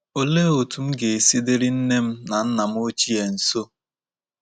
Olee otú M ga-esi diri nne m na nna M ochie nso?